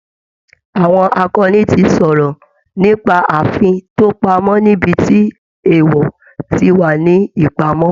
Àwọn akọni ti sọ̀rọ̀ nípa ààfin tó pamọ́ níbi tí èèwọ̀ ti wà ní ìpamọ́